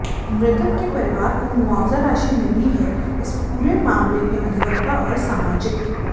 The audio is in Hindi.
मृतक के परिवार को मुआवजा राशि मिली है इस पूरे मामले में अधिवक्ता और सामाजिक